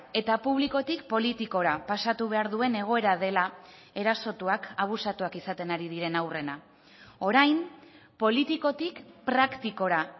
eta publikotik politikora pasatu behar duen egoera dela erasotuak abusatuak izaten ari diren haurrena orain politikotik praktikora